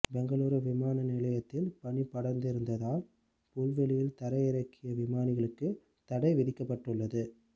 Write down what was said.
பெங்களூர் விமானநிலையத்தில் பனி படந்திருந்ததால் புல்வெளியில் தரையிறக்கிய விமானிகளுக்கு தடை விதிக்கப்பட்டுள்ளது